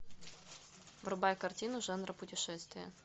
врубай картину жанра путешествия